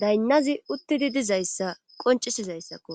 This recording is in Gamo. daynnazi uttidi dizayssa qoncisizayssakko